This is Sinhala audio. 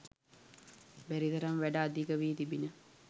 බැරි තරම් වැඩ අධික වී තිබිණි.